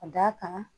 Ka d'a kan